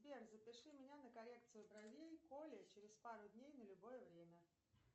сбер запиши меня на коррекцию бровей к оле через пару дней на любое время